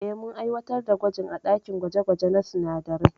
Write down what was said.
Eh, mun aiwatar da gwajin a dakin gwaje gwaje na sinadarai.